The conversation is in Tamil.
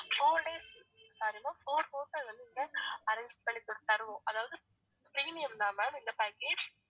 four days four hotel வந்து இங்க arrange பண்ணி தரு~ தருவோம் அதாவது premium தான் ma'am இந்த package